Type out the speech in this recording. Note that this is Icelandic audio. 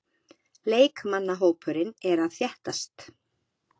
Leikmannahópurinn er að þéttast.